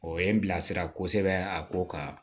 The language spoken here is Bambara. O ye n bila sira a ko kan